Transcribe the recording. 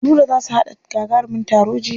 Nura za su haɗa gagarumin taro jibi.